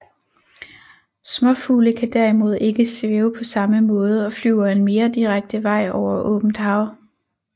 Småfugle kan derimod ikke svæve på samme måde og flyver en mere direkte vej over åbent hav